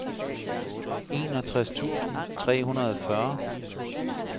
enogtres tusind tre hundrede og fyrre